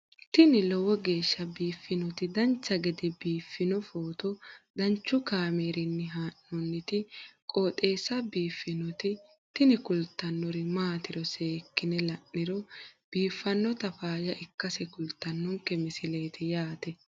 tini lowo geeshsha biiffannoti dancha gede biiffanno footo danchu kaameerinni haa'noonniti qooxeessa biiffannoti tini kultannori maatiro seekkine la'niro biiffannota faayya ikkase kultannoke misileeti yaate